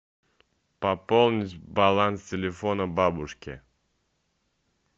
пополнить баланс телефона бабушке